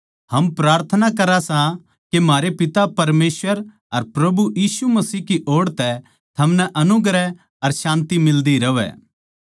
हम प्रार्थना करां सां के म्हारै पिता परमेसवर अर प्रभु यीशु मसीह की ओड़ तै थमनै अनुग्रह अर शान्ति मिल्दी रहवै